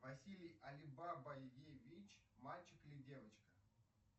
василий алибабаевич мальчик или девочка